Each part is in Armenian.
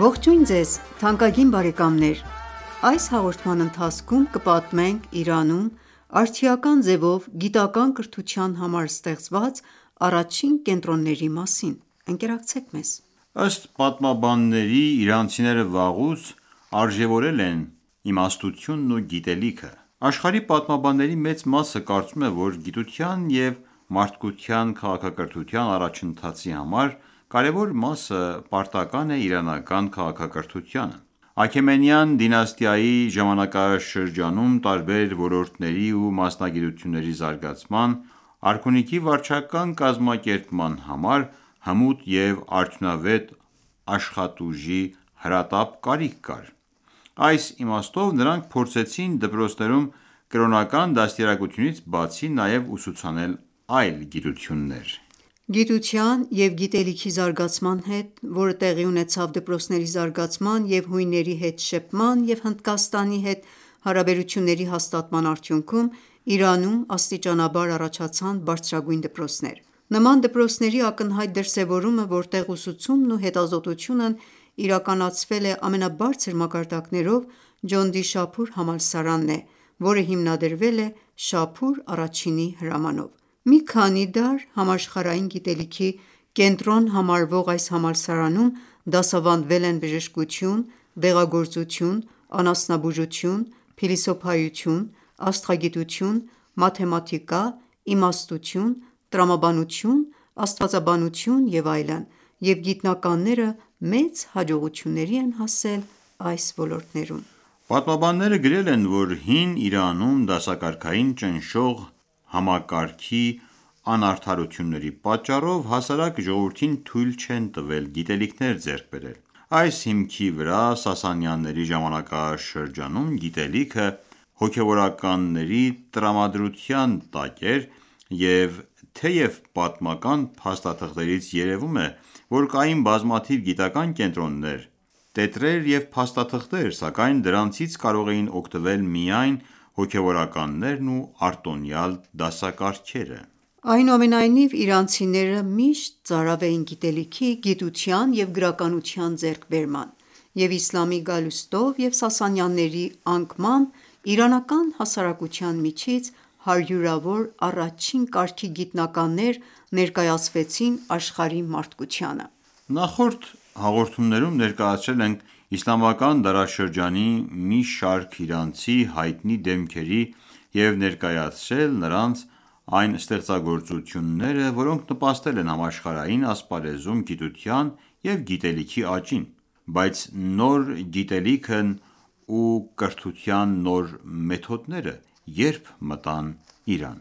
Ողջույն ձեզ թանկագին բարեկամներ: Այս հաղորդման ընթացքում կպատմենք Իրանում արդիական ձևով գիտական ​​կրթության համար ստեղծված առաջին կենտրոնների մասին։ Ըստ պատմաբանների՝ իրանցիները վաղուց արժեւորել են իմաստությունն ու գիտելիքը: Աշխարհի պատմաբանների մեծ մասը կարծում է, որ գիտության և մարդկության քաղաքակրթության առաջընթացի կարևոր մասը պարտական ​​է իրանական քաղաքակրթությանը։ Աքեմենյան դինաստիայի ժամանակաշրջանում, տարբեր ոլորտների ու մասնագիտությունների զարգացման, արքունիքի վարչական կազմակերպման համար, հմուտ և արդյունավետ աշխատուժի հրատապ կարիք կար։ Այս իմաստով նրանք փորձեցին դպրոցներում կրոնական դաստիարակությունից բացի նաև ուսուցանել այլ գիտություններ։ Գիտության և գիտելիքի զարգացման հետ, որը տեղի ունեցավ դպրոցների զարգացման և հույների հետ շփման և Հնդկաստանի հետ հարաբերությունների հաստատման արդյունքում, Իրանում աստիճանաբար առաջացան բարձրագույն դպրոցներ։ Նման դպրոցների ակնհայտ դրսեւորումը, որտեղ ուսուցումն ու հետազոտությունն իրականացվել է ամենաբարձր մակարդակներով, Ջոնդիշափուր համալսարանն է, որը հիմնադրվել է Շահփուր Ա-ի հրամանով։ Մի քանի դար համաշխարհային գիտելիքի կենտրոն համարվող այս համալսարանում դասավանդվել են բժշկություն, դեղագործություն, անասնաբուժություն, փիլիսոփայություն, աստղագիտություն, մաթեմատիկա, իմաստություն, տրամաբանություն, աստվածաբանություն և այլն, և գիտնականները մեծ հաջողությունների են հասել այս ոլորտներում։ Պատմաբանները գրել են, որ հին Իրանում, դասակարգային ճնշող համակարգի անարդարությունների պատճառով, հասարակ ժողովրդին թույլ չեն տվել գիտելիքներ ձեռք բերել։ Այս հիմքի վրա Սասանյանների ժամանակաշրջանում գիտելիքը հոգևորականների տրամադրության տակ էր, և թեև պատմական փաստաթղթերից երևում է, որ կային բազմաթիվ գիտական ​​կենտրոններ, տետրեր և փաստաթղթեր, սակայն դրանից կարող էին օգտվել միայն հոգևորականներն ու արտոնյալ դասակարգերը: Այնուամենայնիվ, իրանցիները միշտ ծարավ էին գիտելիքի, գիտության և գրականության ձեռքբերման, և իսլամի գալուստով և Սասանյանների անկմամբ իրանական հասարակության միջից հարյուրավոր առաջին կարգի գիտնականներ ներկայացվեցին աշխարհի մարդկությանը: Նախորդ հաղորդումներում ներկայացրել ենք իսլամական դարաշրջանի մի շարք իրանցի հայտնի դեմքերի և ներկայացրել նրանց այն ստեղծագործությունները, որոնք նպաստել են համաշխարհային ասպարեզում գիտության և գիտելիքի աճին։ Բայց նոր գիտելիքն ու կրթության նոր մեթոդները ե՞րբ մտան Իրան։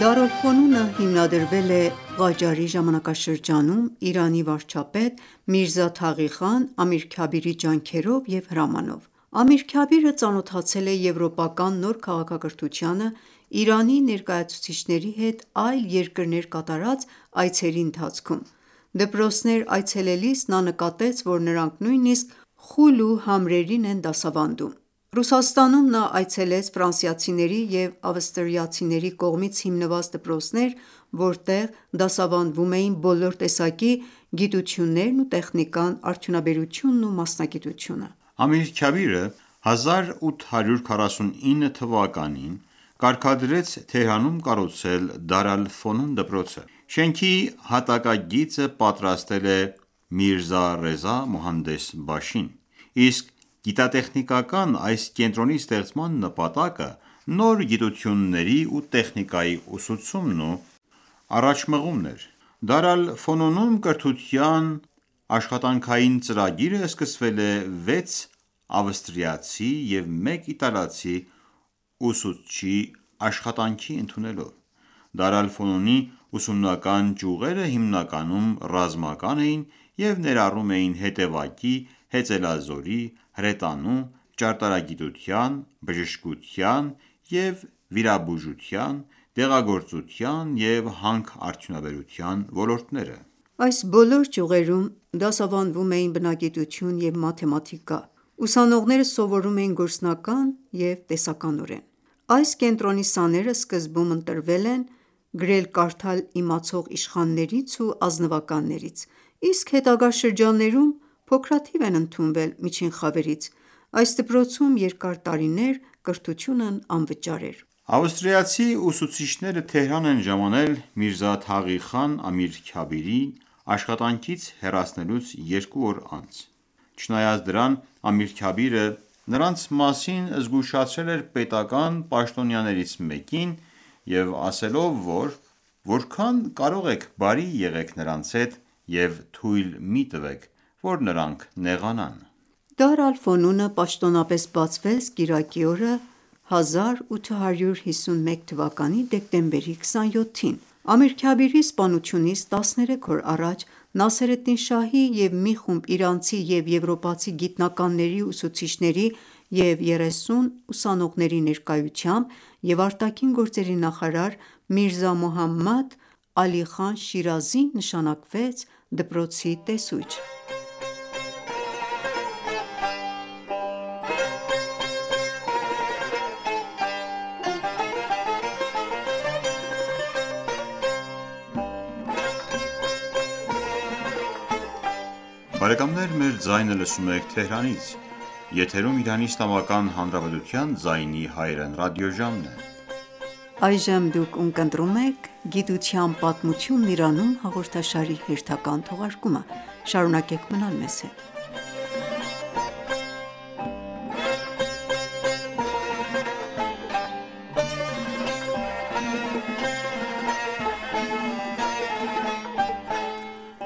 «Դար ալ-Ֆոնուն»-ը հիմնադրվել է Ղաջարի ժամանակաշրջանում Իրանի վարչապետ Միրզա Թաղի Խան Ամիրքաբիրի ջանքերով և հրամանով։ Ամիր Քաբիրը ծանոթացել է եվրոպական նոր քաղաքակրթությանը Իրանի ներկայացուցիչների հետ այլ երկրներ կատարած այցերի ընթացքում։ Դպրոցներ այցելելիս նա նկատեց, որ նրանք նույնիսկ խուլ ու համրերին են դասավանդում։ Ռուսաստանում նա այցելեց ֆրանսիացիների և ավստրիացիների կողմից հիմնված դպրոցներ, որտեղ դասավանդվում էին բոլոր տեսակի գիտություններն ու տեխնիկան, արդյունաբերությունն ու մասնագիտությունը։ Ամիր Քաբիրը 1849թ. թվականին կարգադրեց Թեհրանում կառուցել Դար ալ-Ֆոնուն դպրոցը։ Շենքի հատակագիծը պատրաստել է Միրզա Ռեզա մոհանդես բաշին, իսկ գիտատեխնիկական այս կենտրոնի ստեղծման նպատակը նոր գիտությունների ու տեխնիկայի ուսուցումն ու առաջմղումն էր։ Դար ալ-Ֆոնունում կրթության աշխատանքային ծրագիրը սկսվել է վեց ավստրիացի և մեկ իտալացի ուսուցչի աշխատանքի ընդունելով։ Դար ալ-Ֆոնունի ուսումնական ճյուղերը հիմնականում ռազմական էին և ներառում էին հետևակի, հեծելազորի, հրետանու, ճարտարագիտության, բժշկության և վիրաբուժության, դեղագործության և հանքարդյունաբերության ոլորտները: Այս բոլոր ճյուղերում դասավանդվում էր բնագիտություն և մաթեմատիկա, ուսանողները սովորում էին գործնական և տեսականորեն։ Այս կենտրոնի սաները սկզբում ընտրվել են գրել-կարդալ իմացող իշխաններից ու ազնվականներից, իսկ հետագա շրջաններում փոքրաթիվ են ընդունվել միջին խավերից։ Այս դպրոցում երկար տարիներ կրթությունն անվճար էր։ Ավստրիացի ուսուցիչները Թեհրան են ժամանել Միրզա Թաղի խան Ամիր Քաբիրին աշխատանքից հեռացնելուց երկու օր անց։ Չնայած դրան, Ամիր Քաբիրը նրանց մասին զգուշացրել էր պետական պաշտոնյաներից մեկին և ասելով, որ որքան կարող եք բարի եղեք նրանց հետ և թույլ մի տվեք, որ նրանք նեղանան։ Դար ալ-Ֆոնունը պաշտոնապես բացվեց կիրակի օրը, արեգակնային հիջրեթի 1230 թվականի դեյ ամսի 6-ին: (Դեկտեմբերի 27, 1851) Ամիր Քաբիրի սպանությունից տասներեք օր առաջ Նասերեդդին Շահի և մի խումբ իրանցի և եվրոպացի գիտնականների ու ուսուցիչների և 30 ուսանողների ներկայությամբ և արտաքին գործերի նախարար Միրզա Մուհամմադ Ալի Խան Շիրազին նշանակվեց դպրոցի տեսուչ։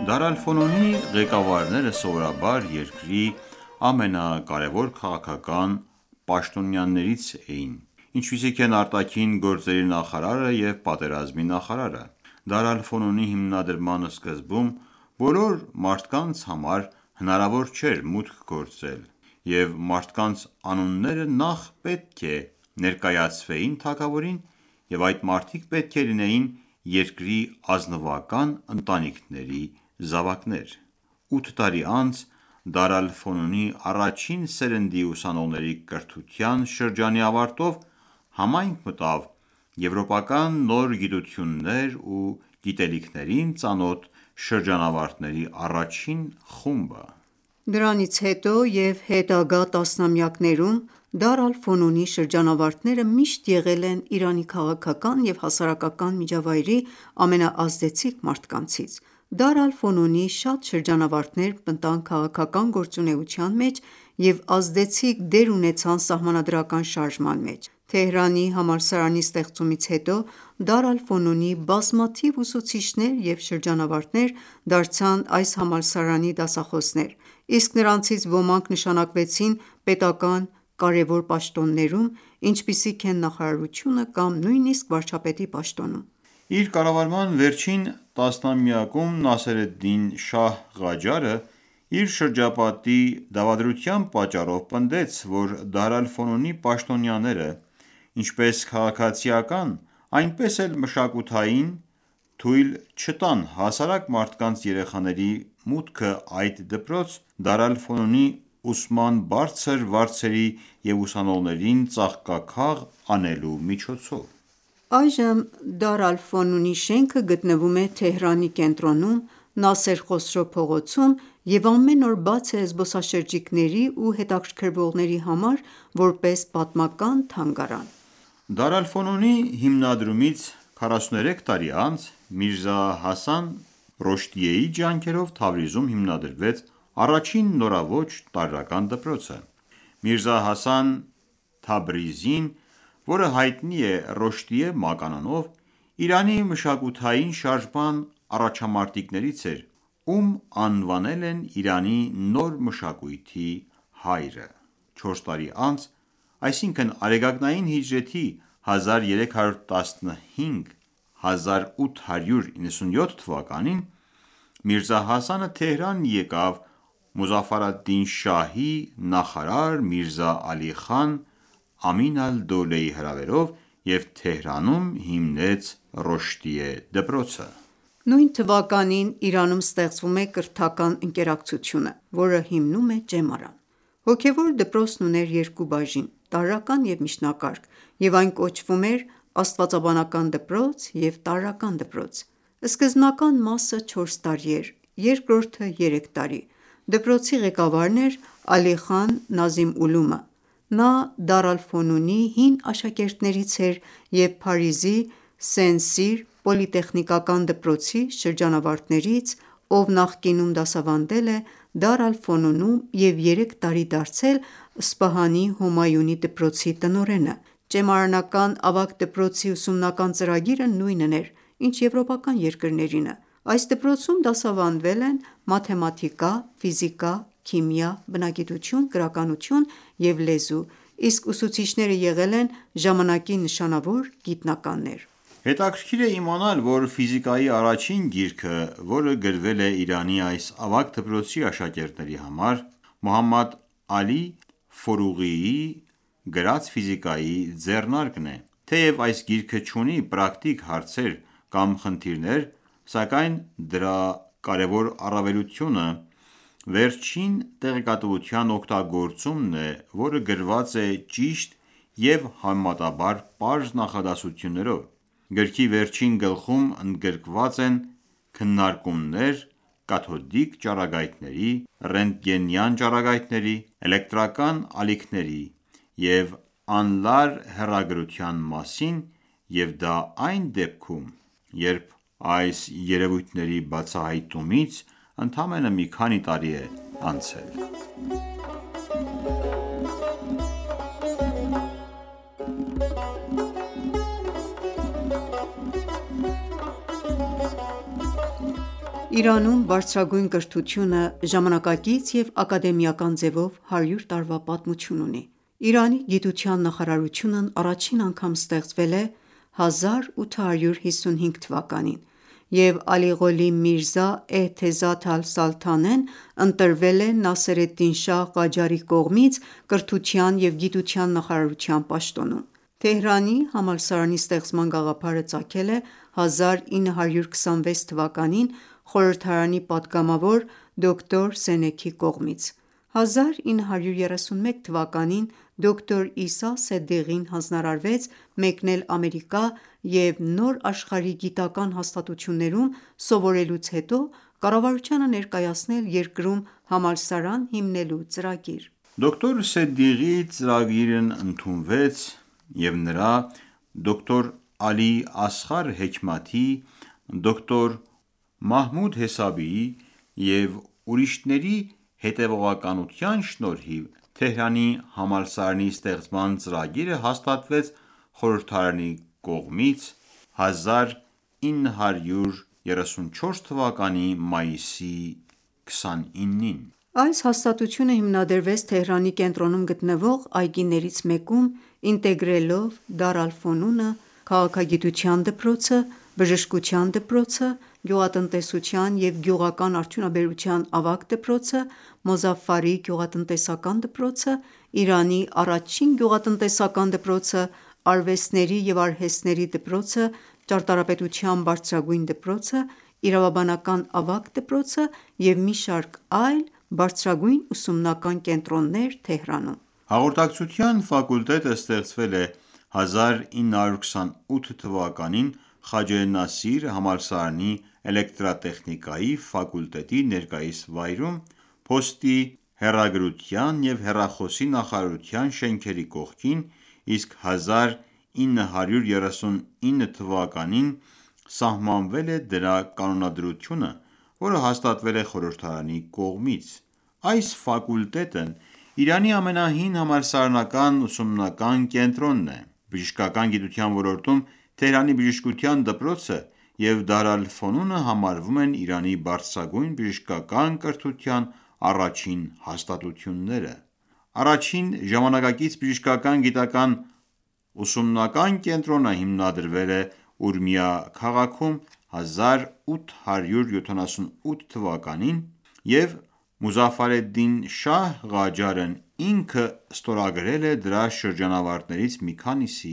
Դար ալ-Ֆոնունի ղեկավարները սովորաբար երկրի ամենակարևոր քաղաքական պաշտոնյաներից էին, ինչպիսիք են արտաքին գործերի նախարարը և պատերազմի նախարարը: Դար ալ-Ֆոնունի հիմնադրման սկզբում բոլոր մարդկանց համար հնարավոր չէր մուտք գործել, և մարդկանց անունները նախ պետք է ներկայացվեին թագավորին, և այդ մարդիկ պետք է լինեին երկրի ազնվական ընտանիքների զավակներ: Ութ տարի անց, Դար ալ-Ֆոնունի առաջին սերնդի ուսանողների կրթության շրջանի ավարտով, համայնք մտավ եվրոպական նոր գիտություններին ու գիտելիքներին ծանոթ շրջանավարտների առաջին խումբը։ Դրանից հետո և հետագա տասնամյակներում Դար ալ-Ֆոնունի շրջանավարտները միշտ եղել են Իրանի քաղաքական և հասարակական միջավայրի ամենաազդեցիկ մարդկանցից։ Դար շատ շրջանավարտներ մտան քաղաքական գործունեության մեջ և ազդեցիկ դեր ունեցան սահմանադրական շարժման մեջ։ Թեհրանի համալսարանի ստեղծումից հետո Դար ալ-Ֆոնունի բազմաթիվ ուսուցիչներ և շրջանավարտներ դարձան այս համալսարանի դասախոսներ, իսկ նրանցից ոմանք նշանակվեցին պետական ​​կարևոր պաշտոններում, ինչպիսիք են նախարարությունը կամ նույնիսկ վարչապետի պաշտոնում: Իր կառավարման վերջին տասնամյակում Նասերեդին Շահ Ղաջարը, իր շրջապատի դավադրության պատճառով, պնդեց, որ Դար ալ-Ֆոնունի պաշտոնյաները, ինչպես քաղաքացիական, այնպես էլ մշակութային, թույլ չտան հասարակ մարդկանց երեխաների մուտքը այդ դպրոց՝ Դար ալ-Ֆոնունի ուսման բարձր վարձերի և ուսանողներին ծաղկաքաղ անելու միջոցով: Այժմ Դար ալ-Ֆոնունի շենքը գտնվում է Թեհրանի կենտրոնում՝ Նասեր Խոսրո փողոցում և ամեն օր բաց է զբոսաշրջիկների ու հետաքրքրվողների համար՝ որպես պատմական թանգարան։ Դար ալ-Ֆոնունի հիմնադրումից 43 տարի անց Միրզա Հասան Ռոշդիեի ջանքերով Թավրիզում հիմնադրվեց առաջին նորաոճ տարրական դպրոցը։ Միրզա Հասան Թաբրիզին, որը հայտնի է Ռոշդիե մականունով, Իրանի մշակութային շարժման առաջամարտիկներից էր, ում անվանել են Իրանի նոր մշակույթի հայրը։ Չորս տարի անց, այսինքն՝ արեգակնային հիջրեթի 1315 թ. (1897թ.) Միրզա Հասանը Թեհրան եկավ Մուզաֆար ալ-Դին Շահի նախարար Միրզա Ալի Խան Ամին ալ-Դոլեի հրավերով և Թեհրանում հիմնեց Ռոշդիե դպրոցը: Նույն թվականին Իրանում ստեղծվում է Կրթական ընկերակցությունը, որը հիմնում է ճեմարան։ Հոգևոր դպրոցն ուներ երկու բաժին՝ տարրական և միջնակարգ, և այն կոչվում էր «Աստվածաբանական դպրոց և տարրական դպրոց»։ Սկզբնական մասը չորս տարի էր, երկրորդը՝ երեք տարի։ Դպրոցի ղեկավարն էր Ալի խան Նազիմ Ուլումը։ Նա Դար ալ-Ֆոնունի հին աշակերտներից էր և Փարիզի Սեն-Սիր պոլիտեխնիկական դպրոցի շրջանավարտներից, ով նախկինում դասավանդել է Դար և երեք տարի դարձել Սպահանի Հոմայունի դպրոցի տնօրենը։ Ճեմարանական ավագ դպրոցի ուսումնական ծրագիրը նույնն էր, ինչ եվրոպական երկրներինը: Այս դպրոցում դասավանդվել են մաթեմատիկա, ֆիզիկա, քիմիա, բնագիտություն, գրականություն և լեզու, իսկ ուսուցիչները եղել են ժամանակի նշանավոր գիտնականներ։ Հետաքրքիր է իմանալ, որ ֆիզիկայի առաջին գիրքը, որը գրվել է Իրանի այս ավագ դպրոցի աշակերտների համար, Մոհամմադ Ալի ձեռնարկն է։ Թեև այս գիրքը չունի պրակտիկ հարցեր կամ խնդիրներ, սակայն դրա կարևոր առավելությունը վերջին տեղեկատվության օգտագործումն է, որը գրված է ճիշտ և համեմատաբար պարզ նախադասություններով։ Գրքի վերջին գլխում ընդգրկված են քննարկումներ կաթոդիկ ճառագայթների, ռենտգենյան ճառագայթների, էլեկտրական ալիքների և անլար հեռագրության մասին, և դա այն դեպքում, երբ այս երևույթների բացահայտումից ընդամենը մի քանի տարի է անցել։ Իրանում բարձրագույն կրթությունը ժամանակակից և ակադեմիական ձևով հարյուր տարվա պատմություն ունի։ Իրանի գիտության նախարարությունն առաջին անգամ ստեղծվել է հիջրեթի 1234 թվականին (1855 թ.) և Ալիղոլի Միրզա Էըթեզաթ ալ-Սալթանեն ընտրվել է Նասերեդին Շահ Ղաջարի կողմից կրթության և գիտության նախարարության պաշտոնում։ Թեհրանի համալսարանի ստեղծման գաղափարը ծագել է 1305 թ. (1926 թ.) խորհրդարանի պատգամավոր դոկտոր Սենեքի կողմից: 1310 թ.-ին (1931 թ.) դոկտոր Իսա Սեդիղին հանձնարարվեց մեկնել Ամերիկա և նոր աշխարհի գիտական հաստատություններում սովորելուց հետո կառավարությանը ներկայացնել երկրում համալսարան հիմնելու ծրագիր: Դոկտոր Սեդիղի ծրագիրն ընդունվեց, և նրա, դոկտոր Ալի Ասղար Հեքմաթի, դոկտոր Մահմուդ Հեսաբիի և ուրիշների հետևողականության շնորհիվ, Թեհրանի համալսարանի ստեղծման ծրագիրը հաստատվեց խորհրդարանի կողմից 1313 թվականի խորդադ ամսի 13-ին (1934 թվականի մայիսի 29): Այս հաստատությունը հիմնադրվեց Թեհրանի կենտրոնում գտնվող այգիներից մեկում՝ ինտեգրելով Դար ալ-Ֆունունը, քաղաքագիտության դպրոցը, բժշկության դպրոցը, գյուղատնտեսության և գյուղական արդյունաբերության ավագ դպրոցը, գյուղատնտեսական դպրոցը, Իրանի առաջին գյուղատնտեսական դպրոցը, արվեստների և արհեստների դպրոցը, ճարտարապետության բարձրագույն դպրոցը, Իրավաբանական ավագ դպրոցը և մի շարք այլ բարձրագույն ուսումնական կենտրոններ Թեհրանում: Հաղորդակցության ֆակուլտետը ստեղծվել է 1307 թվականին (1928 թ.) Խաջե Նասիր համալսարանի Էլեկտրատեխնիկայի ֆակուլտետի ներկայիս վայրում՝ փոստի, հեռագրության և հեռախոսի նախարարության շենքերի կողքին, իսկ 1939 թվականին (1939 թ.) սահմանվել է դրա կանոնադրությունը, որը հաստատվել է խորհրդարանի կողմից։ Այս ֆակուլտետն Իրանի ամենահին համալսարանական ուսումնական կենտրոնն է։Բժշկական գիտության ոլորտում Թեհրանի բժշկության դպրոցը և Դար ալ-Ֆոնունը համարվում են Իրանի բարձրագույն բժշկական կրթության առաջին հաստատությունները: Առաջին ժամանակակից բժշկական գիտական ուսումնական կենտրոնը հիմնադրվել է Ուրմիա քաղաքում 1257 թվականին (1878 թ.), և Մուզաֆարեդին Շահ Ղաջարն ինքը ստորագրել է դրա շրջանավարտներից մի քանիսի